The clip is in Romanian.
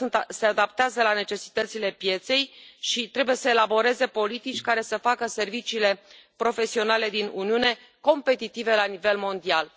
se adaptează la necesitățile pieței și trebuie să elaboreze politici care să facă serviciile profesionale din Uniune competitive la nivel mondial.